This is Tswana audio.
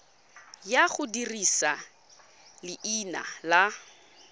ya go dirisa leina la